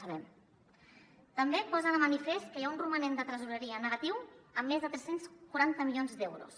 també posa de manifest que hi ha un romanent de tresoreria negatiu amb més de tres cents i quaranta milions d’euros